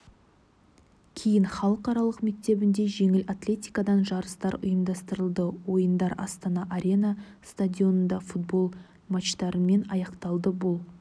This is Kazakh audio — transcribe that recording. кейін халықаралық мектебінде жеңіл атлетикадан жарыстар ұйымдастырылды ойындар астана арена стадионында футбол матчтарымен аяқталды бұл